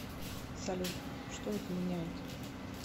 салют что это меняет